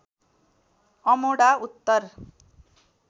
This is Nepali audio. अमोढा उत्तर